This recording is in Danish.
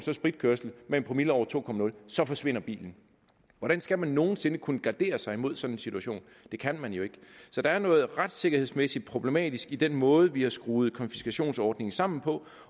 spritkørsel med en promille på over to nul så forsvinder bilen hvordan skal man nogen sinde kunne gardere sig mod sådan en situation det kan man jo ikke så der er noget retssikkerhedsmæssigt problematisk i den måde vi har skruet konfiskationsordningen sammen på